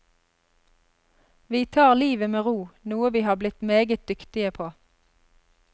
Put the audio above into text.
Vi tar livet med ro, noe vi har blitt meget dyktige på.